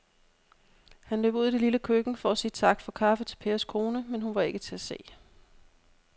Han løb ud i det lille køkken for at sige tak for kaffe til Pers kone, men hun var ikke til at se.